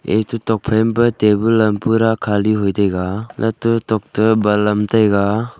eto tokphai ma pa table am pura khali hoitaiga latto tokto balam am taiga.